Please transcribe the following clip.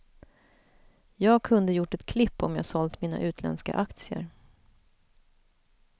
Jag kunde gjort ett klipp om jag sålt mina utländska aktier.